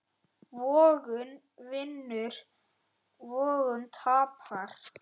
Vogun vinnur vogun tapar.